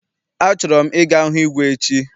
A chọrọ m I ga hụ igwe echi.